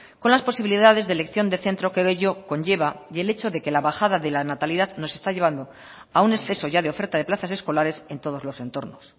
con las posibilidades de elección de centro que de ello conlleva y el hecho de que la bajada de la natalidad nos está llevando a un exceso ya de oferta de plazas escolares en todos los entornos